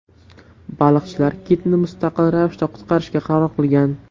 Baliqchilar kitni mustaqil ravishda qutqarishga qaror qilgan.